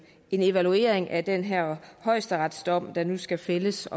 evaluering af den her højesteretsdom der nu skal fældes